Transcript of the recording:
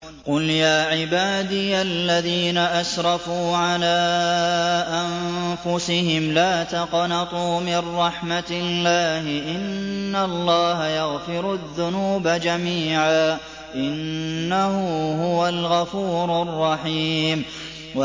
۞ قُلْ يَا عِبَادِيَ الَّذِينَ أَسْرَفُوا عَلَىٰ أَنفُسِهِمْ لَا تَقْنَطُوا مِن رَّحْمَةِ اللَّهِ ۚ إِنَّ اللَّهَ يَغْفِرُ الذُّنُوبَ جَمِيعًا ۚ إِنَّهُ هُوَ الْغَفُورُ الرَّحِيمُ